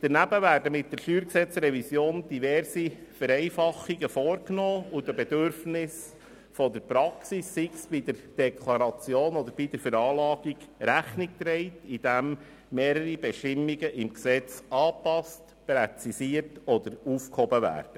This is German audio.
Daneben werden mit der StG-Revision diverse Vereinfachungen vorgenommen und den Bedürfnissen der Praxis, sei es bei der Deklaration oder der Veranlagung, Rechnung getragen, indem mehrere Bestimmungen im Gesetz angepasst, präzisiert oder aufgehoben werden.